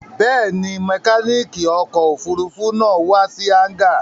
Bẹ́ẹ̀ni, mẹkáníkì ọkọ̀-òfurufú náà wà sí hángà.